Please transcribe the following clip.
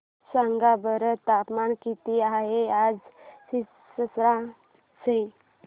सांगा बरं तापमान किती आहे आज सिरसा चे